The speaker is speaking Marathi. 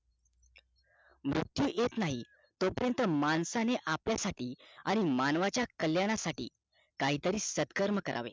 मृत्यू येत नाही तो पर्यत माणसाने आपल्या साठी आणि मानवाचा कल्याणा साठी काहीतरी सत्कर्म करावे